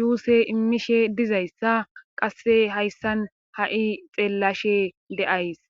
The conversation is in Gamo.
juuse immishe dizayssa qasse hayssan ha7i xeellashe deays